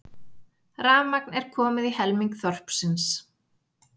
Rafmagn er komið í helming þorpsins